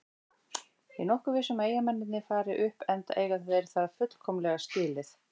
Ég er nokkuð viss um að Eyjamennirnir fari upp enda eiga þeir það fullkomlega skilið.